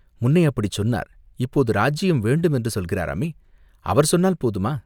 "முன்னே அப்படிச் சொன்னார், இப்போது ராஜ்யம் வேண்டும் என்று சொல்கிறாராமே?" "அவர் சொன்னால் போதுமா?